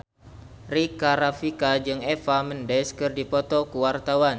Rika Rafika jeung Eva Mendes keur dipoto ku wartawan